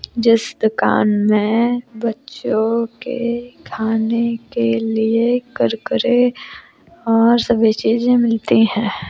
जिस दुकान में बच्चों के खाने के लिए कुरकुरे और सभी चीज मिलती हैं।